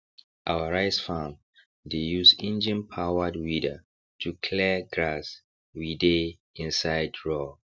our rice farm dey use enginepowered weeder to clear grass we dey inside raw